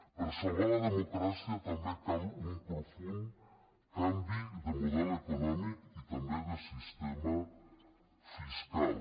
per salvar la democràcia també cal un profund canvi de model econòmic i també de sistema fiscal